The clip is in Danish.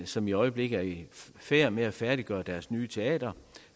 som i øjeblikket er i færd med at færdiggøre deres nye teater